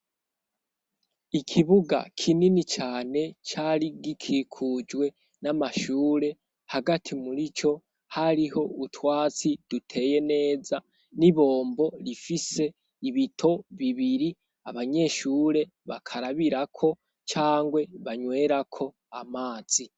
Ikibuga kinini cane cari gikikujwe n'amashure, hagati muri co, hariho utwatsi duteye neza n'ibombo rifise ibito bibiri abanyeshure bakarabirako canke banywerako amazi.